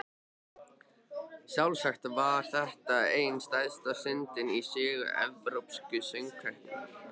Sjálfsagt var þetta ein stærsta stundin í sögu Evrópsku söngvakeppninnar.